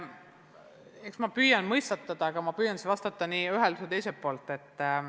Eks ma püüan mõistatada, aga proovin siis vastata nii ühelt kui ka teiselt poolt.